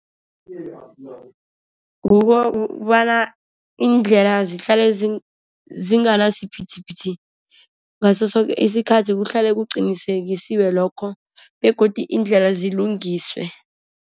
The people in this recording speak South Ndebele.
Kukobana iindlela zihlale zinganasiphithiphithi, ngaso soke isikhathi kuhlale kuqinisekiswe lokho begodu iindlela zilungiswe.